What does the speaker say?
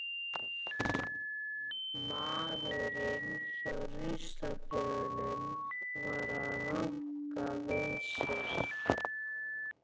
Maðurinn hjá ruslatunnunum var að ranka við sér.